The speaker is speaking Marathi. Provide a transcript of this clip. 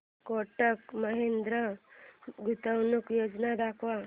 कोटक महिंद्रा गुंतवणूक योजना दाखव